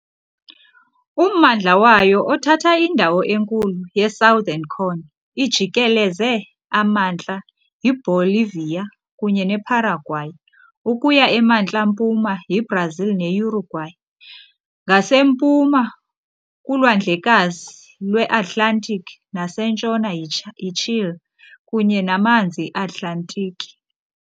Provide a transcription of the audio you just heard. Ummandla wayo, othatha indawo enkulu ye-Southern Cone, ijikeleze amantla yiBolivia kunye neParaguay, ukuya emantla-mpuma yiBrazil neUruguay, ngasempuma kuLwandlekazi lweAtlantiki, nasentshona yiChile kunye namanzi eAtlantiki.